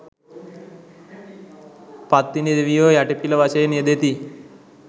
පත්තිනි දෙවියෝ යටිපිල වශයෙන් යෙදෙති